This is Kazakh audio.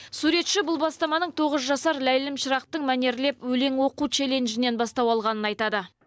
суретші бұл бастаманың тоғыз жасар ләйлім шырақтың мәнерлеп өлең оқу челленджінен бастау алғанын айтады